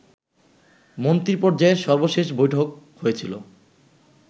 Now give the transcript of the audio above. মন্ত্রীপর্যায়ের সর্বশেষ বৈঠক হয়েছিল